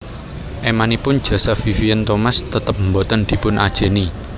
Émanipun jasa Vivien Thomas tetep boten dipun ajèni